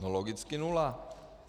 No logicky nula.